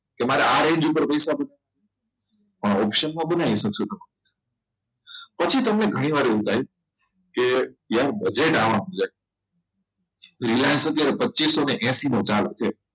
તમારે range પર પૈસા option બનાવી શકશો પછી તમને ઘણીવાર એવું થાય કે યાર budget આમ થઈ જાય છે પચીસોએસી માં ચાલે છે